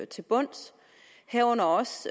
til bunds herunder også